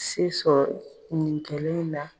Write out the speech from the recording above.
Se sɔrɔ nin kelen inna.